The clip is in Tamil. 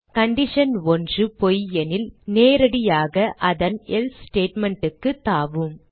கண்டிஷன் 1 பொய் எனில் நேரடியாக அதன் எல்சே statement க்கு தாவும்